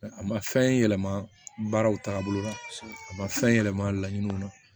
A ma fɛn yɛlɛma baaraw tagabolo la a ma fɛn yɛlɛma laɲiniw na